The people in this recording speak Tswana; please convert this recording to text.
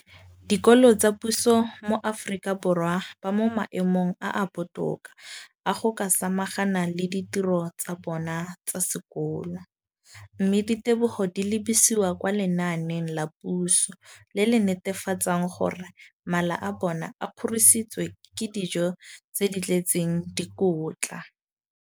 Dikolo tsa puso mo Aforika Borwa ba mo maemong a a botoka a go ka samagana le ditiro tsa bona tsa sekolo, mme ditebogo di lebisiwa kwa lenaaneng la puso le le netefatsang gore mala a bona a kgorisitswe ka dijo tse di tletseng dikotla.